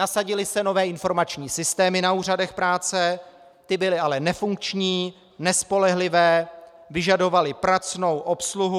Nasadily se nové informační systémy na úřadech práce, ty byly ale nefunkční, nespolehlivé, vyžadovaly pracnou obsluhu.